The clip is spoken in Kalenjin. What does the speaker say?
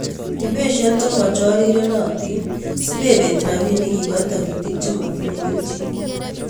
Ibesyen chechorirenotin simebet rabinik iboe toritik chemotinye kelchin.